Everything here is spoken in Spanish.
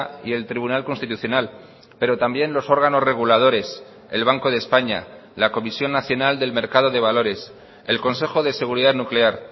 y el tribunal constitucional pero también los órganos reguladores el banco de españa la comisión nacional del mercado de valores el consejo de seguridad nuclear